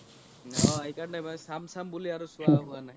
অহ এই কাৰনে মই চাম চাম বুলি আৰু চোৱা হুৱা নাই